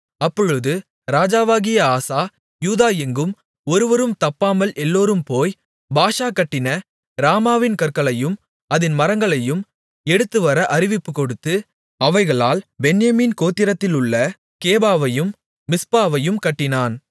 அப்பொழுது ராஜாவாகிய ஆசா யூதா எங்கும் ஒருவரும் தப்பாமல் எல்லோரும் போய் பாஷா கட்டின ராமாவின் கற்களையும் அதின் மரங்களையும் எடுத்துவர அறிவிப்புகொடுத்து அவைகளால் பென்யமீன் கோத்திரத்திலுள்ள கேபாவையும் மிஸ்பாவையும் கட்டினான்